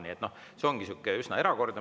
Nii et, noh, see ongi üsna erakordne.